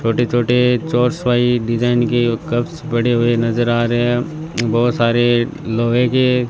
छोटे छोटे चोरस वाइ डिजाइन के कपस पड़े हुए नजर आ रहे हैं बोहोत सारे लोहे के --